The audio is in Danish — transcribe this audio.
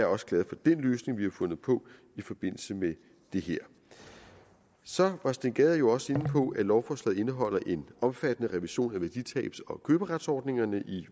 også glad for den løsning vi har fundet på i forbindelse med det her så var herre steen gade jo også inde på at lovforslaget indeholder en omfattende revision af værditabs og køberetsordningerne i